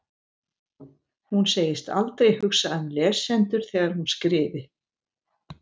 Hún segist aldrei hugsa um lesendur þegar hún skrifi.